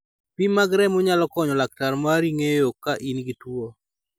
Pim mag remo nyalo konyo laktar mari ng�eyo ka in gi tuo.